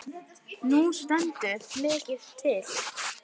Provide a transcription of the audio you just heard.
Nú stendur mikið til.